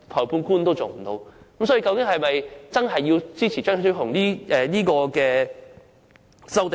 那麼大家是否真的要支持張超雄議員的修正案？